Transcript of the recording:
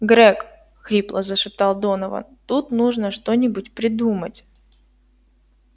грег хрипло зашептал донован тут нужно что-нибудь придумать